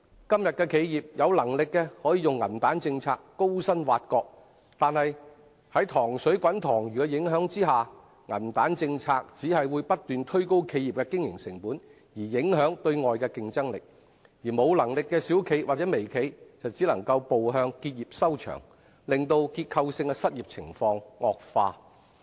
今天的企業，有能力的可用銀彈政策高薪挖角，但在"塘水滾塘魚"的影響下，銀彈政策只會不斷推高企業的經營成本而影響對外的競爭力，而無能力的小型或微型企業只能步向結業收場，令結構性的失業情況惡化。